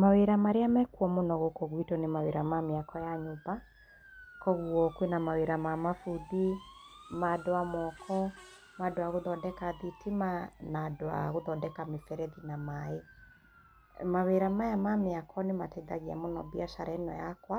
Mawira marĩa me kuo mũno gũkũ gwitũ nĩ mawĩra ma mĩako ya nyũmba. Kũoguo kwĩna mawĩra ma mafundi, ma andũ a moko, ma andũ a gũthondeka thitima, na andũ a gũthondeka mĩberethi na maaĩ. Mawĩra maya ma mĩako nĩ mateithagia mbiacara ĩno yakwa,